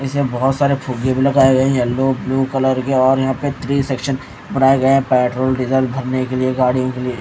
इसमें बहुत सारे फुगे भी लगाए हैं येलो ब्लू कलर के और यहां पे थ्री सेक्शन बनाए गए हैं पेट्रोल डीजल भरने के लिए गाड़ियों के लिए।